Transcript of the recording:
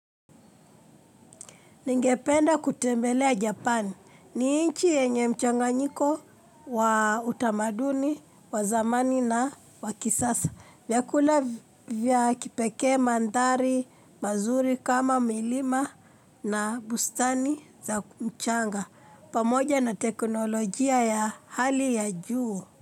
Ningependa kutembelea Japan. Ni nchi yenye mchanganyiko wa utamaduni, wa zamani na wa kisasa. Vyakula vya kipekee, mandari mazuri kama milima na bustani za mchanga. Pamoja na teknolojia ya hali ya juu.